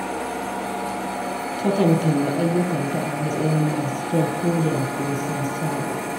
Takan kalli ayyukanta a matsayin masu kyau ko da kuwa sun saɓa.